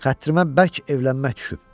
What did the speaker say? Xətrımə bərk evlənmək düşüb.